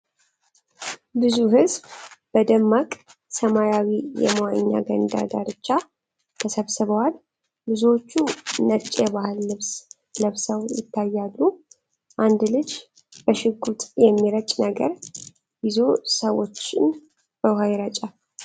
ብዙ ሕዝብ በደማቅ ሰማያዊ የመዋኛ ገንዳ ዳርቻ ተሰብስቧል። ብዙዎቹ ነጭ የባህል ልብስ ለብሰው ይታያሉ። አንድ ልጅ በሽጉጥ የሚረጭ ነገር ይዞ ሰዎችን ውኃ ይረጫል።